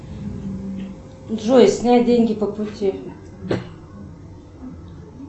джой снять деньги по пути